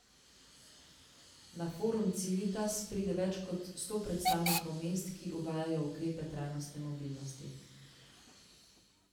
Na forum Civitas pride več sto predstavnikov mest, ki uvajajo ukrepe trajnostne mobilnosti.